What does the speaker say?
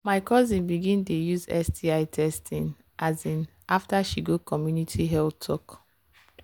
my cousin begin dey use sti testing um after she go community health talk.